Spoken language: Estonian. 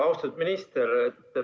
Austatud minister!